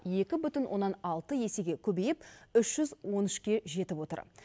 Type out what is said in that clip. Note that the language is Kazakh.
екі бүтін оннан алты есеге көбейіп үш жүз он үшке жетіп отыр